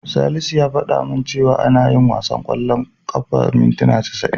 Salisu ya fada min cewa ana yin wasan ƙwallon ƙafa mintina casa'in.